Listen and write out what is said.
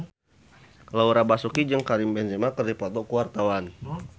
Laura Basuki jeung Karim Benzema keur dipoto ku wartawan